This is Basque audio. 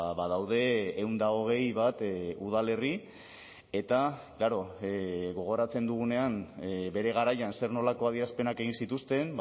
badaude ehun eta hogei bat udalerri eta klaro gogoratzen dugunean bere garaian zer nolako adierazpenak egin zituzten